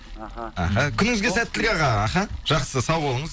аха күніңізге сәттілік аға аха жақсы сау болыңыз